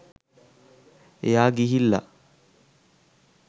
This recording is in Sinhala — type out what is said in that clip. එයා ගිහිල්ලා